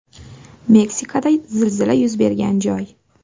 Meksikada zilzila yuz bergan joy.